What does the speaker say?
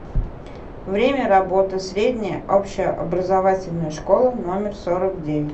время работы средняя общеобразовательная школа номер сорок девять